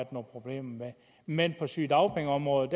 problemer med men på sygedagpengeområdet